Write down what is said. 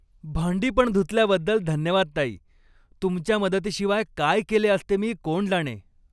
भांडी पण धुतल्याबद्दल धन्यवाद, ताई. तुमच्या मदतीशिवाय काय केले असते मी कोण जाणे.